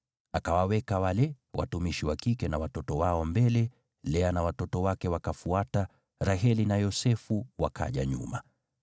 Akawaweka wale watumishi wa kike na watoto wao mbele, Lea na watoto wake wakafuata, Raheli na Yosefu wakaja nyuma.